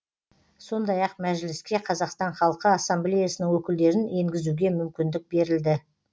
сондай ақ мәжіліске қазақстан халқы ассамблеясының өкілдерін енгізуге мүмкіндік берілді